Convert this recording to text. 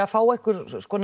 fá einhverja